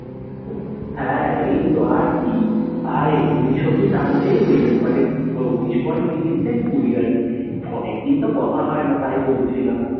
হ্যাঁ, এই তো আর কি আর উনিশ অবধি টানতেই হয়ে যাবে, মানে উনিশ পয়েন্ট তিরিশ থেকে কুড়ি আর কি। অনেক দিন তো কথা হয়না, তাই বলছিলাম।